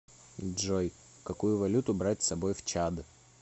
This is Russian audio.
джой какую валюту брать с собой в чад